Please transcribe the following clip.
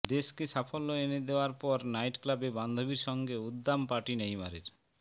দেশকে সাফল্য এনে দেওয়ার পর নাইট ক্লাবে বান্ধবীর সঙ্গে উদ্দাম পার্টি নেইমারের